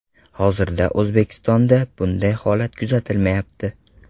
Hozirda O‘zbekistonda bunday holat kuzatilmayapti.